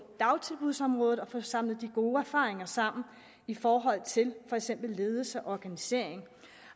dagtilbudsområdet og få samlet de gode erfaringer sammen i forhold til for eksempel ledelse og organisering